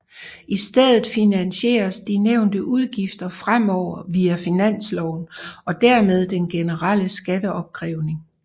I stedet finansieres de nævnte udgifter fremover via finansloven og dermed den generelle skatteopkrævning